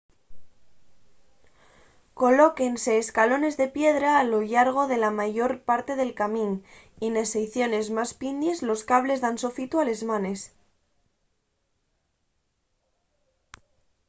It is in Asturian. colóquense escalones de piedra a lo llargo de la mayor parte del camín y nes seiciones más pindies los cables dan sofitu a les manes